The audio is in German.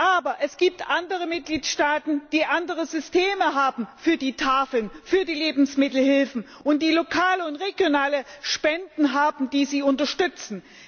Aber es gibt andere Mitgliedstaaten, die andere Systeme haben für die Tafeln, für die Lebensmittelhilfen, und die lokale und regionale Spenden haben, die sie unterstützen.